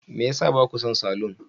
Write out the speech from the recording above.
Me ya sa ba ku son salon?